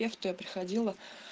я в той приходила